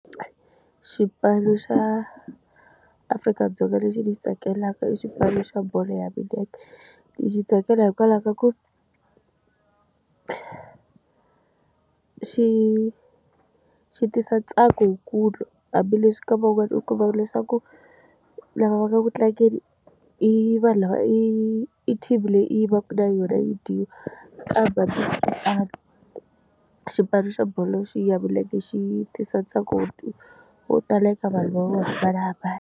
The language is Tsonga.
Xipano xa Afrika-Dzonga lexi ni xi tsakelaka i xipano xa bolo ya milenge lexi tsakela hikwalaho ka ku xi xi tisa ntsako lowukulu hambileswi ka vavanuna ku va leswaku lava va nga ku tlangeni i vanhu lava i team leyi i yi vaka na yona yi dyiwa xipano xa bolo xi ya veleke xi tisa ntokoto wo tala eka vanhu vo hambanahambana.